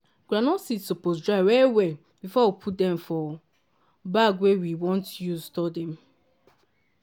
groundnut seed supose dry well well before we put dem for bag wey we want use store dem.